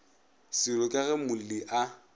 seolo ka ge molli a